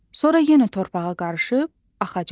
Sonra yenə torpağa qarışıb axacaq.